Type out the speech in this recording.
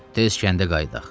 Tez kəndə qayıdaq.